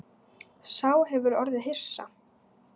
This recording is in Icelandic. Sá hefur orðið hissa